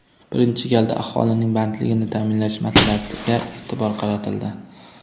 Birinchi galda aholining bandligini ta’minlash masalasiga e’tibor qaratildi.